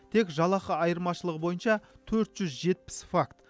тек жалақы айырмашылығы бойынша төрт жүз жетпіс факт